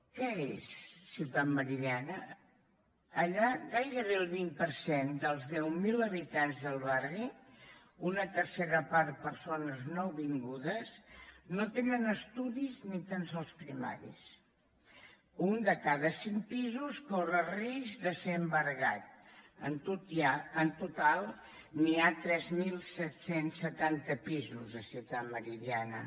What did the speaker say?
què és ciutat meridiana allà gairebé el vint per cent dels deu mil habitants del barri una tercera part persones nouvingudes no tenen estudis ni tan sols primaris un de cada cinc pisos corre risc de ser embargat en total n’hi ha tres mil set cents i setanta pisos a ciutat meridiana